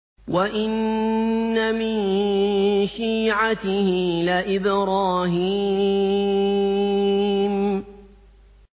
۞ وَإِنَّ مِن شِيعَتِهِ لَإِبْرَاهِيمَ